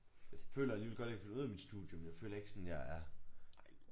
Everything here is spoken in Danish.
Føler alligevel godt jeg kan finde ud af mit studie men jeg føler ikke sådan jeg er